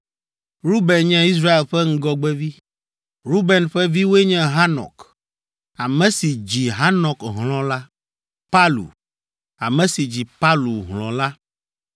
Ruben nye Israel ƒe ŋgɔgbevi. Ruben ƒe viwoe nye Hanok, ame si dzi Hanok hlɔ̃ la. Palu, ame si dzi Palu hlɔ̃ la,